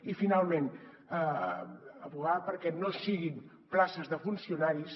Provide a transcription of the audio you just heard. i finalment advocar perquè no siguin places de funcionaris